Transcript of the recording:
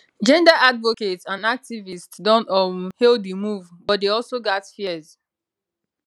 gender advocates and activists don um hail di move but dey also gat fears